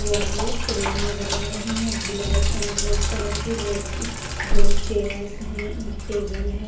Wall frame नजर आ रही हैं ब्लैक एंड रेड कलर के रेड दो चेयर्स हैं एक टेबल है।